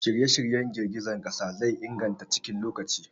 Shirye-shiryen girgizar ƙasa zai inganta cikin lokaci.